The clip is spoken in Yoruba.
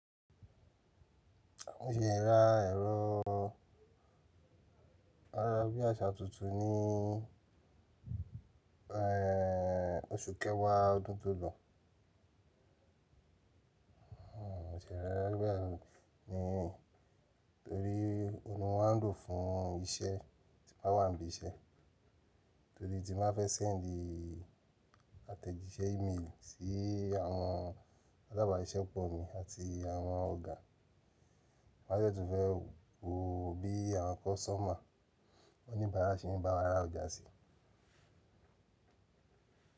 Mi ò ṣe ìra ẹ̀rọ ayarabíàṣá tuntun ní ehhh oṣù kẹwàá ọdún tó lọ. Hmm o ṣe rẹ rẹ gbẹ́rẹ ni, torí òun ni wọ́n ń lò fún iṣẹ́ tí bá wà níbi iṣẹ́. Torí ti má fẹ́ send àtẹ̀jíṣẹ́ email sí àwọn alábàáṣẹ́ pọ̀ mi àti àwọn ọ̀gá. Má ṣẹ̀ tún fẹ́ wo bí àwọn customer oníbàárà ṣe ń bá wa ra ọjà sí.